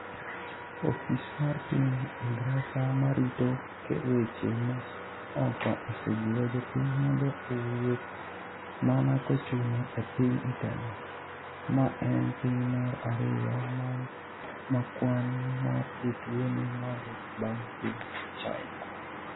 Ofis mar piny Ingresa ma rito weche ma oko osejiwo jopiny mondo owuth mana kochuno e piny Italy, ma en piny mar ariyo ma kwan mar jotuo ni malo bang’ piny China.